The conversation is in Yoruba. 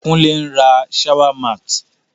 Kúnle n ra shower mat